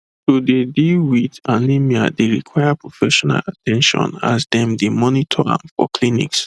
to dey deal wit anemia dey require professional at ten tion as dem dey monitor am for clinics